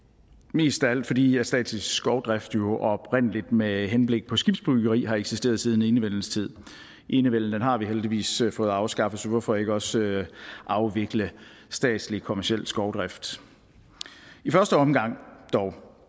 mest af alt fordi statslig skovdrift jo oprindelig med henblik på skibsbyggeri har eksisteret siden enevældens tid enevælden har vi heldigvis fået afskaffet så hvorfor ikke også afvikle statslig kommerciel skovdrift i første omgang